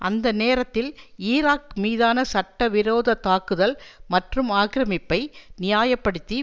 அந்த நேரத்தில் ஈராக் மீதான சட்டவிரோத தாக்குதல் மற்றும் ஆக்கிரமிப்பை நியாய படுத்தி